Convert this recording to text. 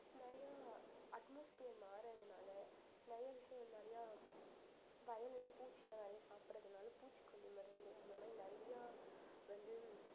நிறைய atmosphere மாறதுனால நிறைய விஷயங்கள் நிறைய வயல்ல பூச்சில்லாம் நிறைய சாப்பிடறதுனால பூச்சிக்கொல்லி மருந்து அந்த மாதிரி நிறைய வந்து